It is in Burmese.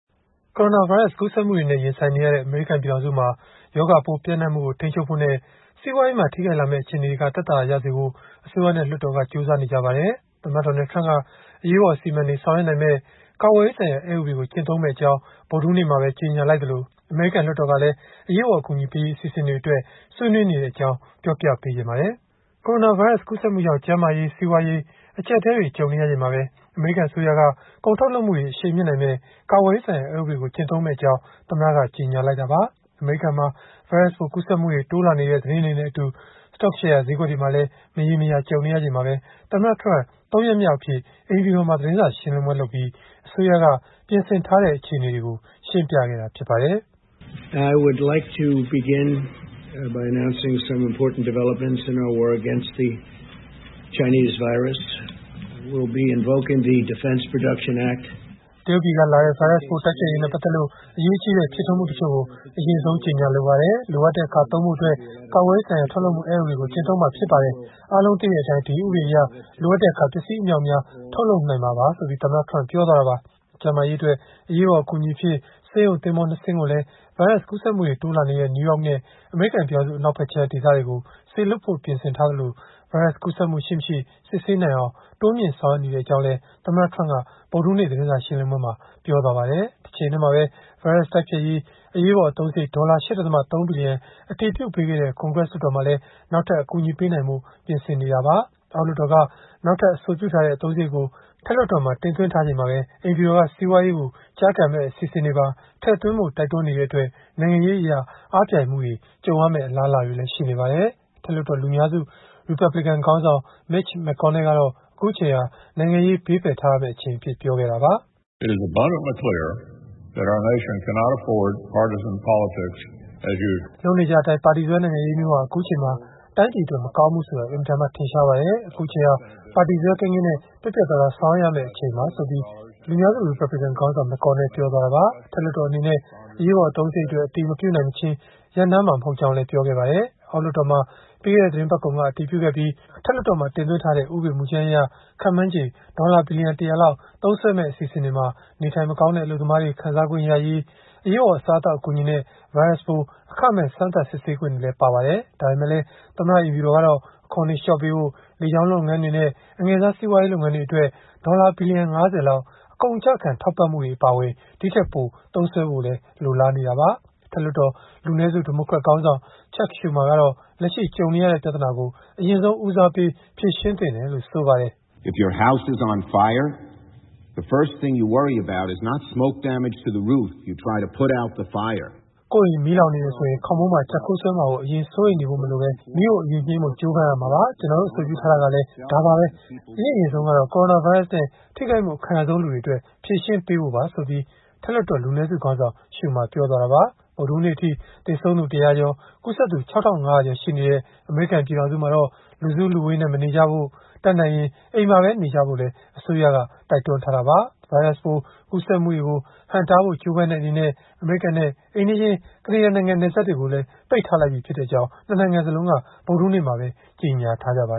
ကိုရိုနာဗိုင်းရပ်စ် ကူးစက်မှုတွေနဲ့ ရင်ဆိုင်နေရတဲ့ အမေရိကန် ပြည်ထောင်စုမှာ ရောဂါပိုးပျံ့နှံ့မှုကို ထိန်းချုပ်ဖို့နဲ့ စီးပွားရေးမှာ ထိခိုက်လာမယ့် အခြေအနေတွေက သက်သာရာရစေဖို့ အစိုးရနဲ့ လွှတ်တော်က ကြိုးစားနေကြပါတယ်။ သမ္မတ Donald Trump က အရေးပေါ် အစီအမံတွေ ဆောင်ရွက်နိုင်မယ့် ကာကွယ်ရေးဆိုင်ရာ အက်ဥပဒေကို ကျင့်သုံးမယ့်အကြောင်း ဗုဒ္ဓဟူးနေ့မှာပဲ ကြေညာလိုက်သလို အမေရိကန် လွှတ်တော်ကလည်း အရေးပေါ် အကူအညီပေးရေး အစီအစဉ်အတွက် ဆွေးနွေးနေကြတဲ့အကြောင်း ကိုအောင်လွင်ဦးက တင်ဆက်ထားပါတယ်။ ကိုရိုနာဗိုင်းရပ်စ် ကူးစက်မှုကြောင့် ကျန်းမာရေး၊ စီးပွားရေး အကျပ်အတည်းတွေ ကြုံနေရချိန်မှာပဲ အမေရိကန် အစိုးရက ကုန်ထုတ်လုပ်မှုတွေ အရှိန်မြှင့်နိုင်မယ့် ကာကွယ်ရေးဆိုင်ရာ အက်ဥပဒေကို ကျင့်သုံးမယ့်အကြောင်း သမ္မတက ကြေညာလိုက်တာပါ။ အမေရိကန်မှာ ဗိုင်းရပ်စ်ပိုး ကူးစက်မှုတွေ တိုးလာနေတဲ့ သတင်းတွေနဲ့အတူ စတော့ရှယ်ယာ ဈေးကွက်တွေမှာလည်း မရေမရာ ကြုံနေရချိန်မှာပဲ သမ္မတ Trump ၃ ရက် မြောက်အဖြစ် အိမ်ဖြူတော်မှာ သတင်းစာရှင်းလင်းပွဲလုပ်ပြီး အစိုးရက ပြင်ဆင်ထားတဲ့ အခြေအနေတွေကို ရှင်းပြခဲ့တာ ဖြစ်ပါတယ်။ “တရုတ်ပြည်ကလာတဲ့ ဗိုင်းရပ်စ်ပိုး တိုက်ဖျက်ရေးနဲ့ ပတ်သက်လို့ အရေးကြီးတဲ့ ဖြစ်ထွန်းမှုတချို့ကို အရင်ဆုံး ကြေညာလိုပါတယ်။ လိုအပ်တဲ့အခါ သုံးဖို့အတွက် ကာကွယ်ရေးဆိုင်ရာ ထုတ်လုပ်မှုအက်ဥပဒေကို ကျင့်သုံးမှာဖြစ်ပါတယ်။ အားလုံးသိတဲ့အတိုင်း ဒီဥပဒေအရ လိုအပ်တဲ့အခါ ပစ္စည်းအမြောက်အများ ထုတ်လုပ်နိုင်မှာပါ။” ကျန်းမာရေးအတွက် အရေးပေါ် အကူအညီအဖြစ် ဆေးရုံသင်္ဘော ၂ စင်းကိုလည်း ဗိုင်းရပ်စ် ကူးစက်မှုတွေ တိုးလာနေတဲ့ နယူးယောက်နဲ့ အမေရိကန် ပြည်ထောင်စု အနောက်ဖက်ခြမ်း ဒေသတွေကို စေလွှတ်ဖို့ ပြင်ဆင်ထားသလို ဗိုင်းရပ်စ်ကူးစက်မှု ရှိ-မရှိ စစ်ဆေးနိုင်အောင် တိုးမြှင့်ဆောင်ရွက် နေကြောင်းလည်း သမ္မတ Trump က ဗုဒ္ဓဟူးနေ့ သတင်းစာ ရှင်းလင်းပွဲမှာ ပြောသွားပါတယ်။ တချိန်တည်းမှာပဲ ဗိုင်းရပ်စ် တိုက်ဖျက်ရေး အရေးပေါ် အသုံးစရိတ် ဒေါ်လာ ၈.၃ ဘီလီယံ အတည်ပြုပေးခဲ့တဲ့ ကွန်ဂရက် လွှတ်တော်မှာလည်း နောက်ထပ် အကူအညီ ပေးနိုင်ဖို့ ပြင်ဆင်နေတာပါ။ အောက်လွှတ်တော်က နောက်ထပ် အဆိုပြုထားတဲ့ အသုံးစရိတ်ကို အထက်လွှတ်တော်မှာ တင်သွင်းထားချိန်မှာပဲ အိမ်ဖြူတော်က စီးပွားရေးကို ကျားကန်မယ့် အစီအစဉ်တွေပါ ထည့်သွင်းဖို့ တိုက်တွန်းနေတဲ့အတွက် နိုင်ငံရေးအရ အားပြိုင်မှုတွေ ကြုံရမယ့် အလားအလာတွေလည်း ရှိနေပါတယ်။ အထက်လွှတ်တော် လူများစု ရီပတ်ဘလစ်ကန် ခေါင်းဆောင် Mitch McConnell ကတော့ အခုအချိန်ဟာ နိုင်ငံရေး ဘေးဖယ်ထားရမယ့် အချိန်အဖြစ် ပြောခဲ့တာပါ။ “လုပ်နေကြအတိုင်း ပါတီစွဲနိုင်ငံရေးမျိုးဟာ အခုအချိန်မှာ တိုင်းပြည်အတွက် မကောင်းဘူးဆိုတာ အင်မတန်မှ ထင်ရှားပါတယ်။ အခုအချိန်ဟာ ပါတီစွဲကင်းကင်းနဲ့ ပြတ်ပြတ်သားသား ဆောင်ရွက်ရမယ့်အချိန်ပါ။” အထက်လွှတ်တော်အနေနဲ့ အရေးပေါ် အသုံးစရိတ်အတွက် အတည်မပြုနိုင်မချင်း ရပ်နားမှာ မဟုတ်ကြောင်းလည်း ပြောပါတယ်။ အောက်လွှတ်တော်မှာ ပြီးခဲ့တဲ့ သီတင်းပတ်ကုန်က အတည်ပြုခဲ့ပြီး အထက်လွှတ်တော်မှာ တင်သွင်းထားတဲ့ ဥပဒေကြမ်းအရ ခန့်မှန်းချေ ဒေါ်လာ ဘီလီယံ ၁၀၀ လောက် သုံးစွဲမယ့် အစီအစဉ်တွေမှာ နေထိုင်မကောင်းတဲ့ အလုပ်သမားတွေ ခံစားခွင့်ရရေး၊ အရေးပေါ် အစားအသောက် အကူအညီနဲ့ ဗိုင်းရပ်စ်ပိုး အခမဲ့စမ်းသပ်စစ်ဆေးခွင့်တွေ ပါဝင်ပါတယ်။ ဒါပေမဲ့လည်း သမ္မတ အိမ်ဖြူတော်ကတော့ အခွန်တွေ လျှော့ပေးဖို့၊ လေကြောင်းလုပ်ငန်းတွေနဲ့ အငယ်စားစီးပွားရေး လုပ်ငန်းတွေအတွက် ဒေါ်လာ ဘီလီယံ ၅၀ လောက် အကုန်အကျခံ ထောက်ပံ့ဖို့တွေ အပါအဝင် ဒီထက်ပိုသုံးစွဲဖို့ လိုလားနေတာပါ။ အထက်လွှတ်တော် လူနည်းစု ဒီမိုကရက်ခေါင်းဆောင် Chuck Schumer ကတော့ လက်ရှိ ကြုံနေရတဲ့ ပြဿနာကို အရင်ဆုံး ဦးစားပေး ဖြေရှင်းသင့်တယ်လို့ ဆိုပါတယ်။ “ကိုယ့်အိမ်မီးလောင်နေတယ်ဆိုရင် ခေါင်းမိုးမှာ ကျပ်ခိုးစွဲမှာကို အရင်စိုးရိမ်နေဖို့ မလိုဘဲ၊ မီးကို အရင်ငြိမ်းဖို့ ကြိုးပမ်းရမှာပါ။ ကျနော်တို့ အဆိုပြုထားတာကလည်း ဒါပါပဲ။ အရင့်အရင်ဆုံးကတော့ ကိုရိုနာဗိုင်းရပ်စ်နဲ့ ထိခိုက်မှု အခံရဆုံးလူတွေအတွက် ဖြေရှင်းပေးဖို့ပါ။” ဗုဒ္ဓဟူးနေ့အထိ သေဆုံးသူ ၁၀၀ ကျော်၊ ကူးစက်သူ ၆,၅၀၀ ကျော်ရှိနေတဲ့ အမေရိကန် ပြည်ထောင်စုမှာတော့ လူစုလူဝေးနဲ့ မနေကြဖို့ တတ်နိုင်ရင် အိမ်မှာနေကြဖို့လည်း အစိုးရက တိုက်တွန်းထားတာပါ။ ဗိုင်းရပ်စ်ပိုး ကူးစက်မှုတွေကို ဟန့်တားဖို့ ကြိုးပမ်းတဲ့ အနေနဲ့ အမေရိကန်နဲ့ အိမ်နီးချင်း ကနေဒါနိုင်ငံ နယ်စပ်တွေကိုလည်း ပိတ်လိုက်ပြီဖြစ်ကြောင်း ၂ နိုင်ငံစလုံးက ဗုဒ္ဓဟူးနေ့မှာပဲ ကြေညာထားကြပါ